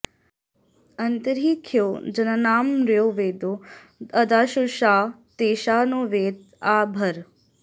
अ॒न्तर्हि ख्यो जना॑नाम॒र्यो वेदो॒ अदा॑शुषां॒ तेषां॑ नो॒ वेद॒ आ भ॑र